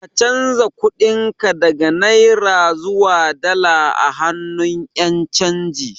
Ka canza kuɗin ka daga Naira zuwa dala a hannun Ƴan canji